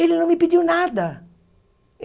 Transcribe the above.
Ele não me pediu nada.